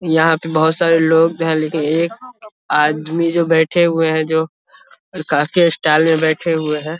यहाँ पर बहुत सारे लोग जो है लेकिन एक आदमी जो बैठे हुए हैं जो काफी स्टाइल में बैठे हुए हैं ।